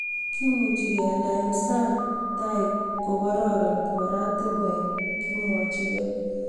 Kimuchi kealda eng sang tai kokoron oratinwek, kimwochkei